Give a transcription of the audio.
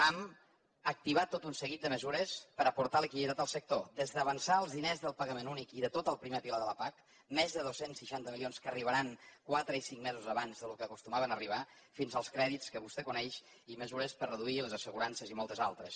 hem activat tot un seguit de mesures per a aportar liquiditat al sector des d’avançar els diners del pagament únic i de tot el primer pilar de la pac més de dos cents i seixanta milions que arribaran quatre i cinc mesos abans del que acostumaven a arribar fins als crèdits que vostè coneix i mesures per a reduir les assegurances i moltes altres